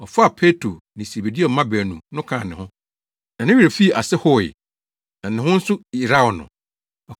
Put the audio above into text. Ɔfaa Petro ne Sebedeo mma baanu no kaa ne ho, na ne werɛ fii ase howee, na ne ho nso yeraw no.